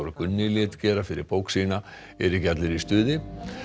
Gunni lét gera fyrir bók sína eru ekki allir í stuði